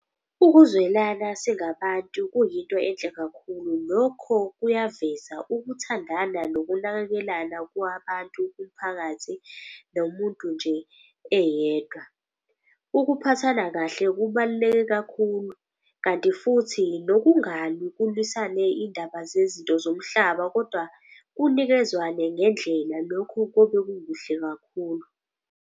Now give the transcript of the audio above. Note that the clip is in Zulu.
Ukuzwelana singabantu kuyinto enhle kakhulu. Lokho kuyaveza ukuthandana nokunakekelana kwabantu kumphakathi nomuntu nje eyedwa. Ukuphathana kahle kubaluleke kakhulu kanti futhi nokungalwi kulwisane indaba zezinto zomhlaba. Kodwa kunikezwane ngendlela, lokho kobe kukuhle kakhulu.